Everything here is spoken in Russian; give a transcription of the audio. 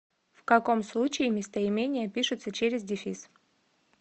в каком случае местоимения пишутся через дефис